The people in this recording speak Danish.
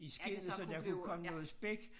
I skindet så der kunne komme noget spæk